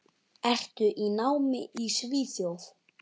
Ertu í námi í Svíþjóð?